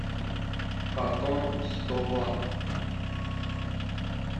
фотон сто ватт